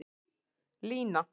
Lína